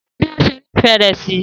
So fún bi o ṣe nifẹ rẹ sí.